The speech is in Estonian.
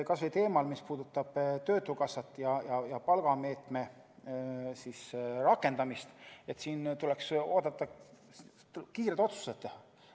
Kas või teemal, mis puudutab töötukassat ja palgameetme rakendamist, tuleks kiired otsused teha.